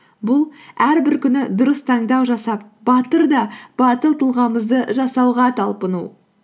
бұл әрбір күні дұрыс таңдау жасап батыр да батыл тұлғамызды жасауға талпыну